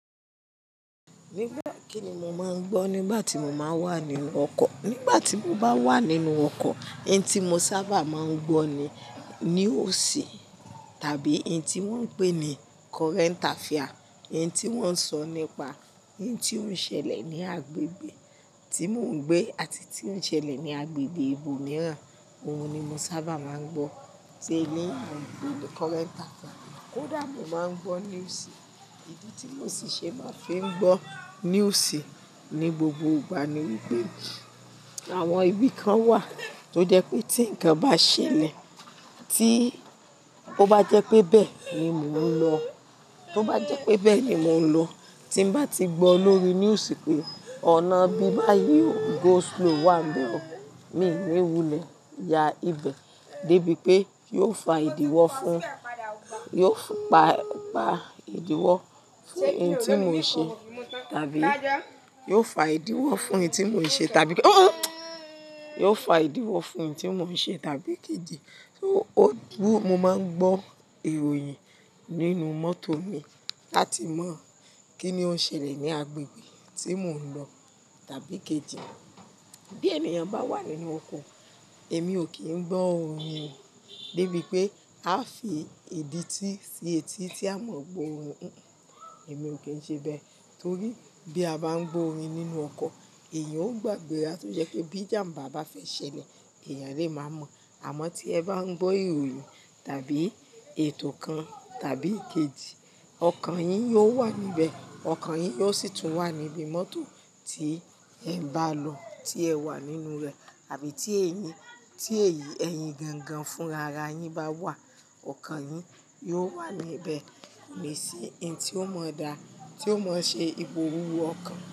Nígbà kín ni mo máa ń gbọ́ nígbà tí mo máa ń wà nínú ọkọ̀? Nígbà tí mo bá wà nínú ọkọ̀, n tí mo sábà máa ń gbọ́ ni news tàbí n tí wọ́n ń pè ní current affair. Ah, n tí ó wọ́n sọ nípa n tí ó ṣẹlẹ̀ ní agbègbè ibi tí mon gbé àti tí ó n ṣẹlẹ̀ ní agbègbè ibo mìíràn. Ohun ni mo sábà máa ń gbọ́. Se ni mo ń pè ní current affair. Kódà mo máa ń gbọ́ news, ìdí tí mo sì ṣe máa fi ń gbọ́ news ni gbogbo ìgbà ni wípé ah. Àwọn ibi kan wà tó jẹ́ pé tí nǹkan bá ṣẹlẹ̀ tí ó bá jẹ́ pé bẹ́ẹ̀ ni mò ń lọ, tí ó bá jẹ́ pé bẹ́ẹ̀ ni mò ń lọ tí n bá ti gbọ́ lórí news pé ọ̀nà bíbáyi o, go slow wà níbẹ̀ o, mí ò ní wulẹ̀ ya ibẹ̀ débi pé yóò fa ìdíwọ́ fún yóò pa pa ìdíwọ́ fún oun tí mo n ṣe tàbí yio fa ìdíwọ́ fún oun tí mò ń ṣe tàbí hmm, hmm yóò fa ìdíwọ́ fún oun tí mò ń ṣe tàbí kí di. Mo máa ń gbọ́ ìròyìn nínú mọ́tò mi láti mọ̀ kín ni ó ń ṣẹlẹ̀ ní agbègbè tí mò ń lọ tàbí kejì. Bí ènìyàn bá wà nínú ọkọ̀, èmi ò kí ń gbọ́ orin débi pé aa fi ìdítí sí etí tí a mọ̀ gbo orin. Èmi ò kí ń ṣe bẹ́ẹ̀ torí bí a bá ń gbọ́ orin nínú ọkọ̀ èèyàn ó gbàgbé ara tó jẹ́ pé bí ìjàm̀bá bá fẹ́ ṣẹlẹ̀, èèyàn lè máa mọ̀. Àmọ́ tí ẹ bá ń gbọ́ ìròyìn tàbí ètò kan tàbí kejì, ọkàn yín yóò wà níbẹ̀. Ọkàn yín yóò sì tún wà níbi mọ́tò tí ẹ n bá lọ, tí ẹ wà nínú rẹ̀ àbí tí èyí, tí èyí ẹyin gan gan fún rara yín bá wà, ọkàn yín yóò wà níbẹ̀. Kò ní sí ntí ó mọ dá, tí ó mọ ṣe ipò wúwo ọkàn.